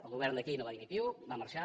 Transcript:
el govern d’aquí no va dir ni piu va marxar